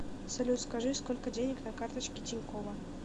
салют скажи сколько денег на карточке тинькова